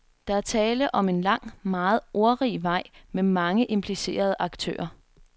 Der er tale om en lang, meget ordrig vej med mange implicerede aktører.